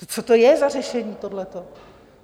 Co to je za řešení, tohleto?